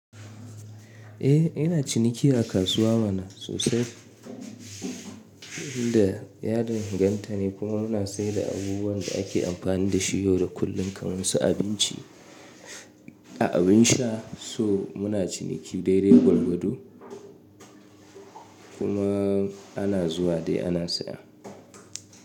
Eh ina ciniki a kasuwa mana sosai. N da yadin ganta ne kuma muna sayar da abubuwan da ake amfani da shi yau da kullum kamar su abinci a abin sha. So muna ciniki daidai gwargwado kuma ana zuwa dai ana saya.